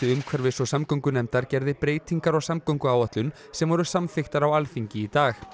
umhverfis og samgöngunefndar gerði breytingar á samgönguáætlun sem voru samþykktar á Alþingi í dag